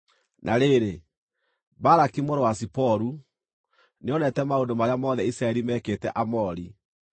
Na rĩrĩ, Balaki mũrũ wa Ziporu nĩonete maũndũ marĩa mothe Isiraeli meekĩte Aamori,